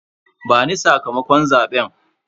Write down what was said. Bani sakamakon zabe.